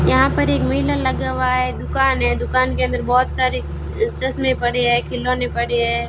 यहां पर एक बैनर लगा हुआ है दुकान है दुकान के अंदर बहुत सारे चश्मे पड़े है खिलौने पड़े हैं।